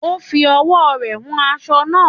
Ó ń fi ọwọ́ rẹ wan aṣọ naa